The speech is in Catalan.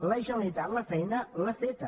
la generalitat la feina l’ha feta